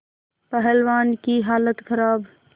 पहलवान की हालत खराब